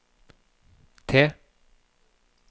T